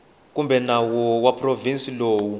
kumbe nawu wa provinsi lowu